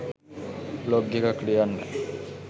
blog එකක් ලියන්න